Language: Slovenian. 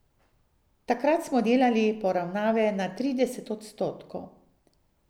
Takrat smo delali poravnave na trideset odstotkov.